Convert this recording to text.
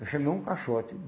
Eu chamei um caixote.